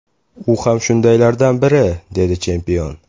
U ham shundaylardan biri”, dedi chempion.